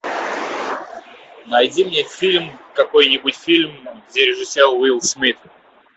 найди мне фильм какой нибудь фильм где режиссер уилл смит